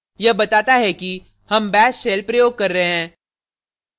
यह बताता है कि हम bash shell प्रयोग कर रहे हैं